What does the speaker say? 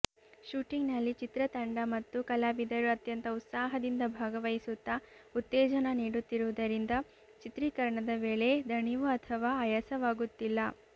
ಶೂಟಿಂಗ್ನಲ್ಲಿ ಚಿತ್ರತಂಡ ಮತ್ತು ಕಲಾವಿದರು ಅತ್ಯಂತ ಉತ್ಸಾಹದಿಂದ ಭಾಗವಹಿಸುತ್ತಾ ಉತ್ತೇಜನ ನೀಡುತ್ತಿರುವುದರಿಂದ ಚಿತ್ರೀಕರಣದ ವೇಳೆ ದಣಿವು ಅಥವಾ ಆಯಾಸವಾಗುತ್ತಿಲ್ಲ